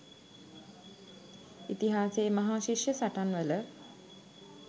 ඉතිහාසයේ මහා ශිෂ්‍ය සටන්වල